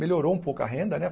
Melhorou um pouco a renda, né?